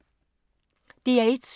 DR1